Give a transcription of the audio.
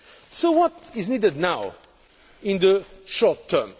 So what is needed now in the short term?